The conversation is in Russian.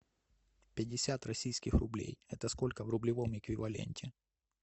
пятьдесят российских рублей это сколько в рублевом эквиваленте